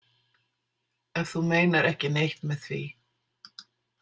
Ef þú meinar ekki neitt með því.